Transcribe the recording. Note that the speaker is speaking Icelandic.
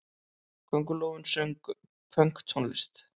Köngulóin söng pönktónlist!